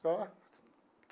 Só.